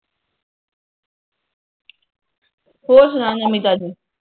ਹੋਰ ਸੁਨਾ ਨਵੀ ਤਾਜ਼ੀ